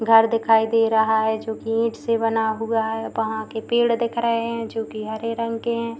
घर दिखाई दे रहा है। जो की ईंट से बना हुआ है। वहाँ के पेड़ दिख रहे है जो की हरे रंग के है।